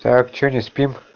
так что не спим